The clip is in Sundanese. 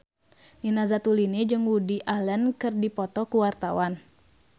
Nina Zatulini jeung Woody Allen keur dipoto ku wartawan